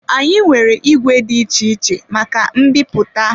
Anyị nwere ìgwè dị iche iche maka mbipụta.